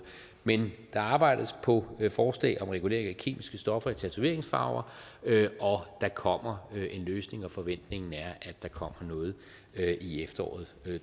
men der arbejdes på forslag om regulering af kemiske stoffer i tatoveringsfarver og der kommer en løsning og forventningen er at der kommer noget i efteråret